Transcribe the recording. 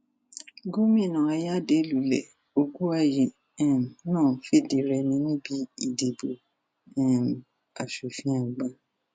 gomina ayade lulẹ ògùwàyí um náà fìdírèmi níbi ìdìbò um asòfin àgbà